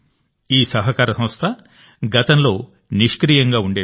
ఈ సహకార సంస్థ గతంలో నిష్క్రియంగా ఉండేది